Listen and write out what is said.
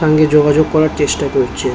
সঙ্গে যোগাযোগ করার চেষ্টা করছে।